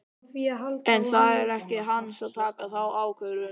En það er ekki hans að taka þá ákvörðun.